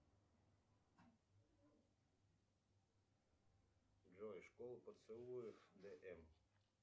джой школа поцелуев д м